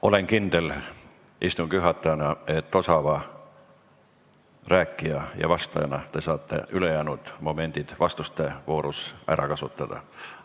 Olen istungi juhatajana kindel, et osava rääkija ja vastajana te saate ülejäänud momendid vastuste voorus ära kasutada.